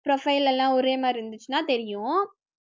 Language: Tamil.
profile எல்லாம் ஒரே மாதிரி இருந்துச்சுன்னா தெரியும்